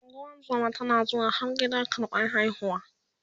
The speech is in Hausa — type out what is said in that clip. ungozuma tana zuwa har gida karɓan haihuwa